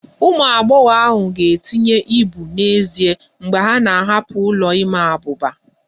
Ụmụ agbọghọ ahụ ga-etinye ibu n'ezie mgbe ha na-ahapụ ụlọ ịma abuba